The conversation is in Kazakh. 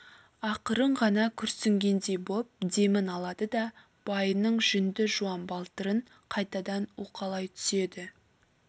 ақырын ғана күрсінгендей боп демін алады да байының жүнді жуан балтырын қайтадан уқалай түседі